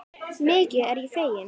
Mikið er ég fegin.